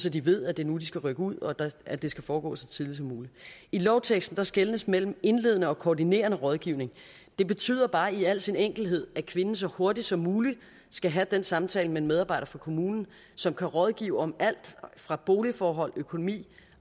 at de ved at det er nu de skal rykke ud og at det skal foregå så tidligt som muligt i lovteksten skelnes mellem indledende og koordinerende rådgivning det betyder bare i al sin enkelhed at kvinden så hurtigt som muligt skal have den samtale med en medarbejder fra kommunen som kan rådgive om alt fra boligforhold økonomi